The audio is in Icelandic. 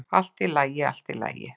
"""Allt í lagi, allt í lagi."""